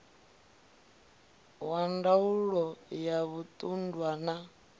wa ndaulo ya zwiṱunḓwa na